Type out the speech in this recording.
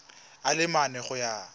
a le mane go ya